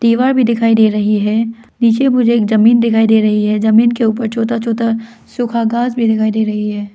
दीवार भी दिखाई दे रही है नीचे मुझे एक जमीन दिखाई दे रही है जमीन के ऊपर छोटा छोटा सुखा घास भी दिखाई दे रही है।